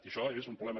i això és un problema